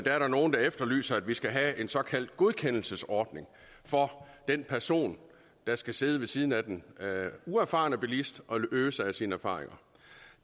er der nogle der efterlyser at vi skal have en såkaldt godkendelsesordning for den person der skal sidde ved siden af den uerfarne bilist og øse af sine erfaringer